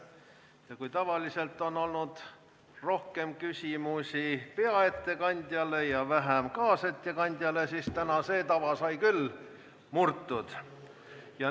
Kui tavaliselt on olnud rohkem küsimusi peaettekandjale ja vähem kaasettekandjale, siis täna sai see tava küll murtud.